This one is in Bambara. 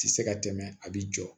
Ti se ka tɛmɛ a bi jɔ